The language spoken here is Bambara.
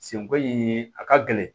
Senko in a ka gɛlɛn